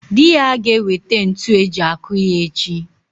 Dị ya ga-ewete ntu eji akụ ya echi.